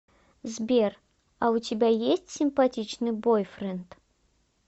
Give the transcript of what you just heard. сбер а у тебя есть симпатичный бойфренд